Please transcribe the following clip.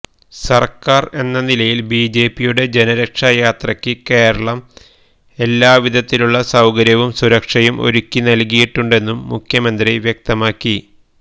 സര്ക്കാര് എന്ന നിലയില് ബിജെപിയുടെ ജനരക്ഷായാത്രക്ക് കേരളം എല്ലാവിധത്തിലുള്ള സൌകര്യവും സുരക്ഷയും ഒരുക്കി നല്കിയിട്ടുണ്ടെന്നും മുഖ്യമന്ത്രി വ്യക്തമാക്കി